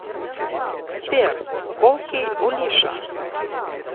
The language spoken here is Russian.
сбер колкий олиша